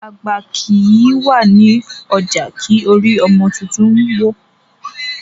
Àgbà kìí wà ní ọjà kí orí ọmọ tuntun wọ́.